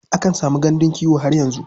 Akan samu gandun kiwo har yanzu.